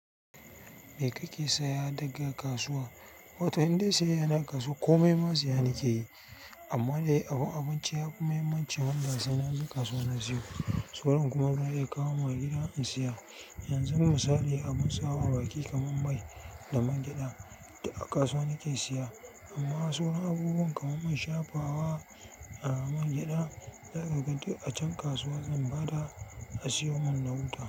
Me kake saya daga kasuwa? Wato indai sayayya ne a kasuwa komai ma saya ni ke yi. Amma dai abun abinci ya fi muhimmancin wanda sai na zuwa kasuwa na siyo. Sauran kuma za'a iya kawo mun gida in saya. Yanzu misali abin sawa a baki kamar mai da man gyaɗa da a kasuwa nike siya. Amma sauran abubuwa kamar mun shafawa a man gyaɗa, lokacin a can kasuwa zan bada a siyo mun na wuta.